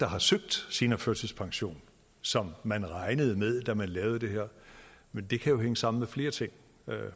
har søgt seniorførtidspension som man regnede med da man lavede det her men det kan jo hænge sammen med flere ting